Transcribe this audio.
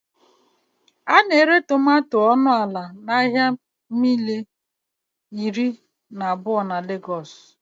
A na-ere tomato ọnụ ala n'ahịa mile iri na abụọ na Legos